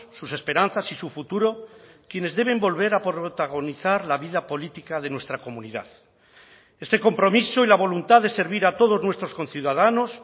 sus esperanzas y su futuro quienes deben volver a protagonizar la vida política de nuestra comunidad este compromiso y la voluntad de servir a todos nuestros conciudadanos